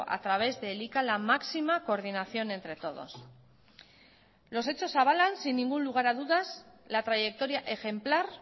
a través de elika la máxima coordinación entre todos los hechos avalan sin ningún lugar a dudas la trayectoria ejemplar